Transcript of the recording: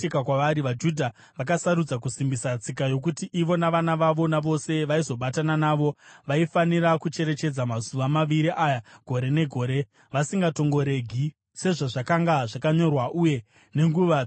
vaJudha vakasarudza kusimbisa tsika yokuti ivo navana vavo navose vaizobatana navo vaifanira kucherechedza mazuva maviri aya gore negore vasingatongoregi, sezvazvakanga zvakanyorwa uye nenguva dzakatarwa.